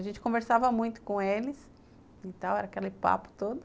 A gente conversava muito com eles e tal, era aquele papo todo.